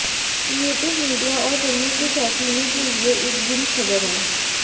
creative media और फिल्मों के शौकीनों के लिए एक बुरी खबर है